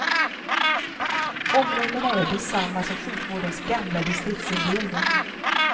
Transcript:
Områdena är desamma som sjukvårdens gamla distriktsindelning.